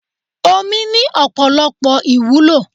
Omi ni Ọ̀pọ̀lọpọ̀ ìwúlò.